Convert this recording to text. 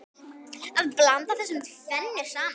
Að blanda þessu tvennu saman.